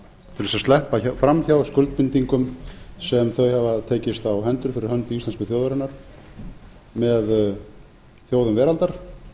til þess að sleppa fram hjá skuldbindingum sem þau hafa tekist á hendur fyrir hönd íslensku þjóðarinnar með þjóðum veraldar